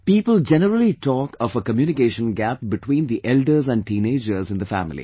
People generally talk of a communication gap between the elders and teenagers in the family